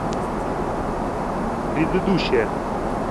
предыдущая